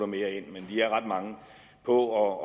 mere ind men de er ret mange på